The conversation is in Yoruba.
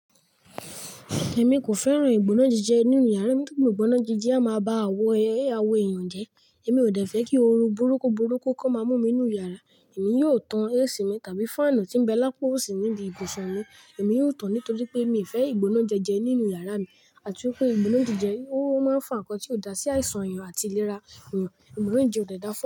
Èmi kò fẹ́ràn ìgbónájejẹ nínú yàrá mi nítorí ìgbónájejẹ a máa ba awọ eeyàn jẹ́. Èmi ò dẹ̀ fẹ́ kí ooru burúkú burúkú ko máa mú mi nínú yàrá. Èmi yóò tan AC mi tàbí fáànù tí ń bá lápa osí níbi ibùsùn mi. Èmi yóò tán ní torí pé mi ò fẹ́ ìgbónájejẹ nínú yàrá mi àti wípé ìgbónájejẹ ó máa ń fa ǹkan tí ó dá sí àìsàn èèyàn àti ìlera èèyàn. Ìgbónájejẹ ò dẹ dáfun.